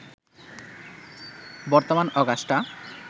বর্তমান অগাস্টা